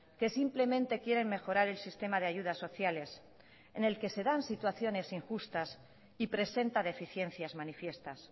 que simplemente quieren mejorar el sistema de ayudas sociales en el que se dan situaciones injustas y presenta deficiencias manifiestas